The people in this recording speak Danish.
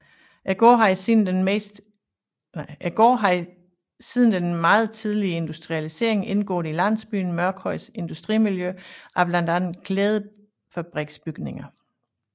Gården har siden den meget tidlige industrialisering indgået i landsbyen Mørkhøjs industrimiljø af blandt andet klædefabriksbygninger